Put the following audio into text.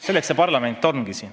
Selleks parlament siin ongi.